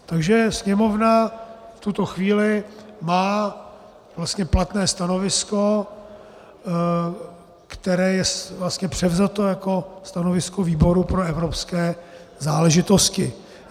Takže Sněmovna v tuto chvíli má vlastně platné stanovisko, které je vlastně převzato jako stanovisko výboru pro evropské záležitosti.